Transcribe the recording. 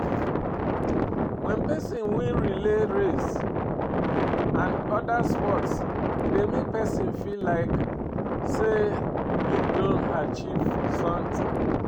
When perosn win relay race and oda sports e dey make person feel like sey im don achieve something